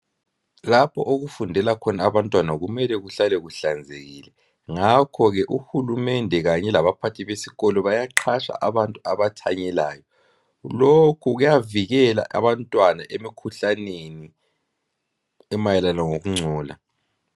Lapho okufundela khona abantwana kumele kuhlale kuhlanzekile ngakho-ke uhulumende labaphathi besikolo bayaqhatsha abantu abathanyelayo lokhu kuyavikela abantwana emikhuhlaneni emayelana lokungcola.